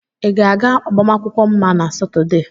Ị ga-aga agbamakwụkwọ Mma na Satọde?